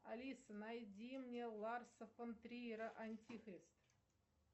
алиса найди мне ларса фон триера антихрист